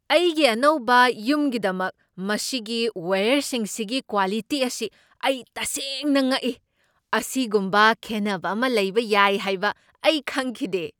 ꯑꯩꯒꯤ ꯑꯅꯧꯕ ꯌꯨꯝꯒꯤꯗꯃꯛ ꯃꯁꯤꯒꯤ ꯋꯥꯏꯌꯔꯁꯤꯡꯁꯤꯒꯤ ꯀ꯭ꯋꯥꯂꯤꯇꯤ ꯑꯁꯤ ꯑꯩ ꯇꯁꯦꯡꯅ ꯉꯛꯏ ꯫ ꯑꯁꯤꯒꯨꯝꯕ ꯈꯦꯠꯅꯕ ꯑꯃ ꯂꯩꯕ ꯌꯥꯏ ꯍꯥꯏꯕ ꯑꯩ ꯈꯪꯈꯤꯗꯦ!